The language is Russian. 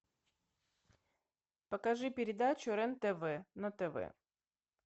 покажи передачу рен тв на тв